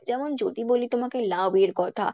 যেমন যদি বলি তোমাকে লাউ এর কথা।